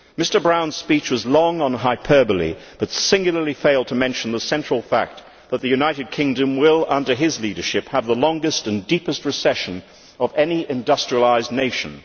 Mr Brown's speech was long on hyperbole but singularly failed to mention the central fact that the United Kingdom will, under his leadership, have the longest and deepest recession of any industrialised nation.